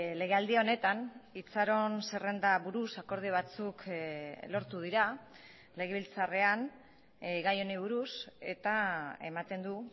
legealdi honetan itxaron zerrenda buruz akordio batzuk lortu dira legebiltzarrean gai honi buruz eta ematen du